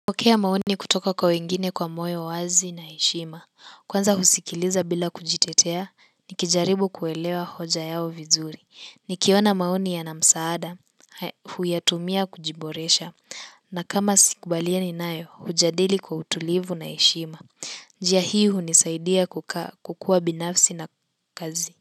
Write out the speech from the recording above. Kupokea maoni kutoka kwa wengine kwa moyo wazi na heshima, kwanza husikiliza bila kujitetea, nikijaribu kuelewa hoja yao vizuri, nikiona maoni yana msaada, huyatumia kujiboresha, na kama sikubalianii nayo, hujadili kwa utulivu na heshima, njia hii hiunisaidia kukuwa binafsi na kazi,